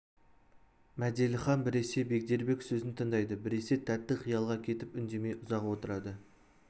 мәделіхан біресе бегдербек сөзін тыңдайды біресе тәтті қиялға кетіп үндемей ұзақ отырады